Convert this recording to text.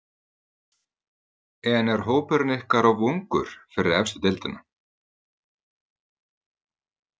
En er hópurinn ykkar of ungur fyrir efstu deildina?